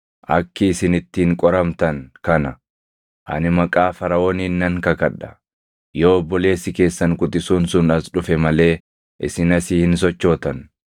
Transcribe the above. Akki isin ittiin qoramtan kana; ani maqaa Faraʼooniin nan kakadha; yoo obboleessi keessan quxisuun sun as dhufe malee isin asii hin sochootan.